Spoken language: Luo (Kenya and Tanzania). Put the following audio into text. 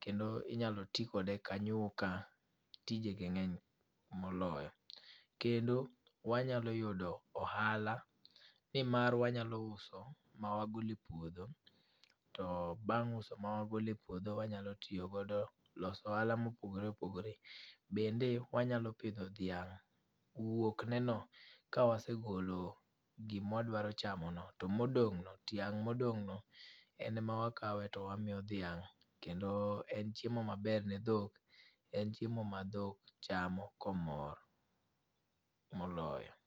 kendo inyalo ti kode kanyuka tijege ng'eny moloyo. Kendo, wanyalo yudo ohala nimar wanyalo uso ma wagole puodho to bang' uso ma wagole puodho wanyalo tiyogodo loso ohala mopogore opogore. Bende wanyalo pidho dhiang' wuokneno ka wasegolo gimwadwaro chamono to modong'no, tiang' modong'no en ma wakawe to wamiyo dhiang' kendo en chiemo maber ne dhok en chiemo ma dhok chamo komor moloyo.